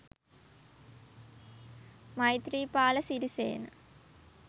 maithreepala sirisena